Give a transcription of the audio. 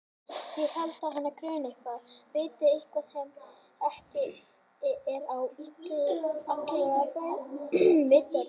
En ég held að hana gruni eitthvað, viti eitthvað sem ekki er á allra vitorði.